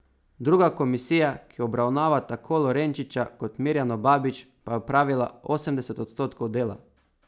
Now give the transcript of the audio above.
Druga komisija, ki obravnava tako Lorenčiča kot Mirjano Babić, pa je opravila osemdeset odstotkov dela.